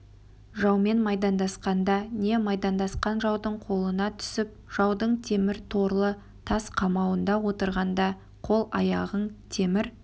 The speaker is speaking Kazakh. жаумен майдандасқанда не майдандасқан жаудың қолына түсіп жаудың темір торлы тас қамауында отырғанда қол-аяғың темір